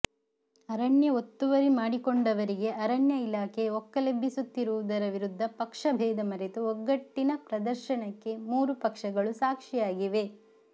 ಅರಣ್ಯ ಒತ್ತುವರಿ ಮಾಡಿಕೊಂಡವರಿಗೆ ಅರಣ್ಯ ಇಲಾಖೆ ಒಕ್ಕಲೆಬ್ಬಿಸುತ್ತಿರುವುದರ ವಿರುದ್ದ ಪಕ್ಷ ಭೇಧ ಮರೆತು ಒಗ್ಗಟ್ಟಿನ ಪ್ರದರ್ಶನಕ್ಕೆ ಮೂರು ಪಕ್ಷಗಳು ಸಾಕ್ಷಿಯಾಗಿವೆ